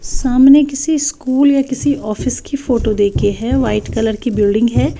सामने किसी स्कूल या किसी ऑफिस की फोटो देखे हैं वाइट कलर की बिल्डिंग है।